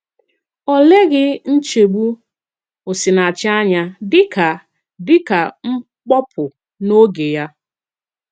Ọ̀ lèghì nchébù Osìnàchì ànyà dị ka dị ka mkpopu n’òge Yà.